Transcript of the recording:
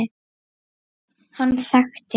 Hann þekkti